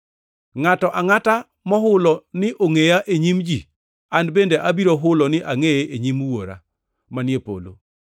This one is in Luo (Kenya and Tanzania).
“Ngʼato angʼata mohulo ni ongʼeya e nyim ji, an bende abiro hulo ni angʼeye e nyim Wuora manie polo.